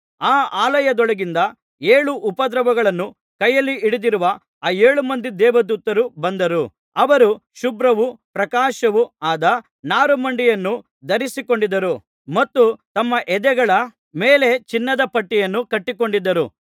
ಆ ಆಲಯದೊಳಗಿಂದ ಏಳು ಉಪದ್ರವಗಳನ್ನು ಕೈಯಲ್ಲಿ ಹಿಡಿದಿರುವ ಆ ಏಳು ಮಂದಿ ದೇವದೂತರು ಬಂದರು ಅವರು ಶುಭ್ರವೂ ಪ್ರಕಾಶವೂ ಆದ ನಾರುಮಡಿಯನ್ನು ಧರಿಸಿಕೊಂಡಿದ್ದರು ಮತ್ತು ತಮ್ಮ ಎದೆಗಳ ಮೇಲೆ ಚಿನ್ನದ ಪಟ್ಟಿಯನ್ನು ಕಟ್ಟಿಕೊಂಡಿದ್ದರು